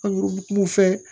fɛ